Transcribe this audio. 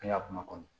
An ka kuma kɔnɔ